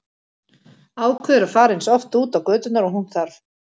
Ákveður að fara eins oft út á göturnar og hún þarf.